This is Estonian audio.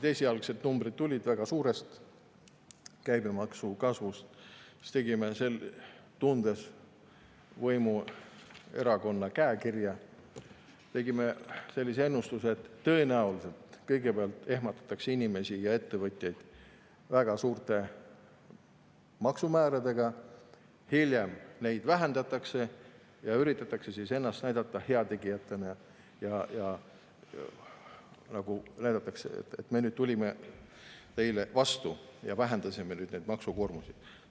Esialgsed numbrid tulid väga suurest käibemaksu kasvust, aga meie, tundes võimuerakonna käekirja, tegime sellise ennustuse: tõenäoliselt kõigepealt ehmatatakse inimesi ja ettevõtjaid väga suurte maksumääradega, hiljem neid makse vähendatakse ja üritatakse ennast näidata heategijatena, öeldes: "Me tulime teile vastu ja vähendasime nüüd maksukoormust.